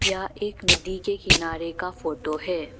यह एक नदी के किनारे का फोटो है।